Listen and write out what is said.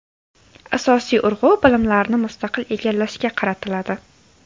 Asosiy urg‘u bilimlarni mustaqil egallashga qaratiladi.